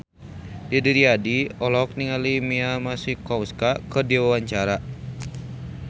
Didi Riyadi olohok ningali Mia Masikowska keur diwawancara